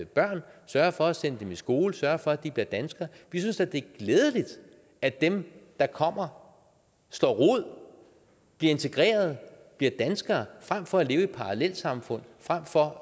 børn sørger for at sende dem i skole sørger for at de bliver danskere vi synes da det er glædeligt at dem der kommer slår rod bliver integreret bliver danskere frem for at leve i parallelsamfund frem for